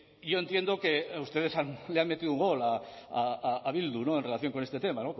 yo entiendo que ustedes le han metido un gol a bildu en relación con este tema